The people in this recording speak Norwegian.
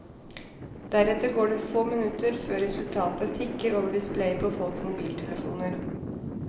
Deretter går det få minutter før resultatene tikker over displayet på folks mobiltelefoner.